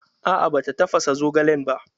A'a bata tafasa zogalen ba